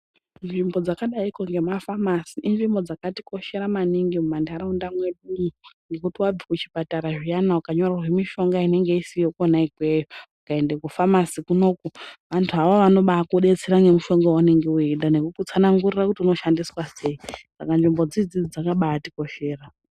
Nzvimbo dzakadaiko ngemafamasi inzvimbo dzakatikoshera maningi mumantaraunda mwedumwo ngekuti wabve kuchipatara zviyana ukanyorerwe mishonga inenga isiyo kona ikweyo ukaenda kufamasi kunoku, antu awawo anobakudetsera nemushonga waunenga weida nekukutsanangurira kuti unoshandiswa sei, saka nzvimbo idzidzi dzakabatikoshera.